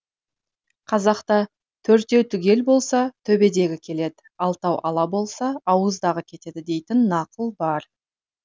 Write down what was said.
қазақта төртеу түгел болса төбедегі келеді алтау ала болса ауыздағы кетеді дейтін нақыл бар